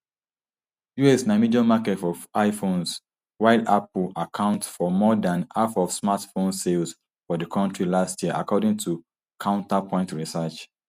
us na major market for iphones while apple account for more dan half of smartphones sales for di kontri last year according to counterpoint research